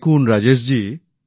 দেখুন রাজেশ জি